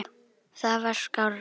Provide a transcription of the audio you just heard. Það var skárra.